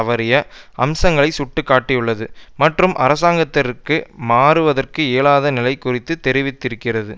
தவறிய அம்சங்களை சுட்டி காட்டியுள்ளது மற்றும் அரசாங்கத்திற்கு மாறுவதற்கு இயலாத நிலை குறித்து தெரிவித்திருக்கிறது